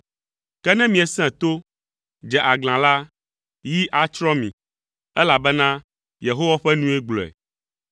Ke ne miesẽ to, dze aglã la, yi atsrɔ̃ mi.” Elabena Yehowa ƒe nue gblɔe.